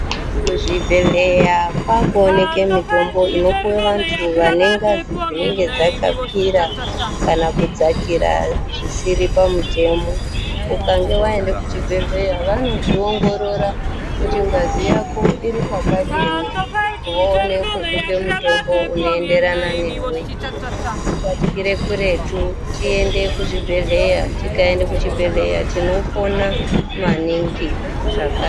Muzvibhedhlera kwakuoneke mitombo inopiwe vantu vane ngazi dzinenge dzakakwira kana kudzakira zvisiri pamutemo ukange waenda kuchibhedhlera vanozviongorora kuti ngazi yako iripakadini voone kukupe mutombo unoenderana newe batikire kuretu tiende kuzvibhedhlera, tikaenda kuchibhedhlera tinopona maningi zvaka.